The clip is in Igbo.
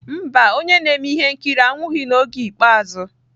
Mba, onye na-eme ihe nkiri anwụghị n'oge ikpeazụ.